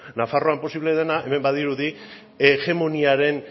nafarroan posible dena hemen badirudi hegemoniaren